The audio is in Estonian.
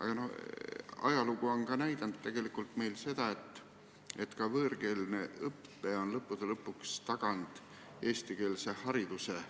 Samas ajalugu on näidanud, et teatud juhtudel on ka võõrkeelne õpe lõppude lõpuks taganud eestikeelse hariduse.